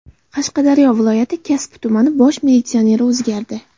Qashqadaryo viloyati Kasbi tumanining bosh militsioneri o‘zgardi.